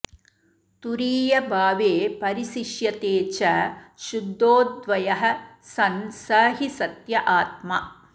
तुरीयभावे परिशिष्यते च शुद्धोऽद्वयः सन् स हि सत्य आत्मा